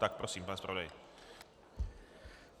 Tak prosím, pane zpravodaji.